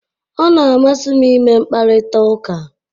Ọ na-amasị m ịme mkparịta ụka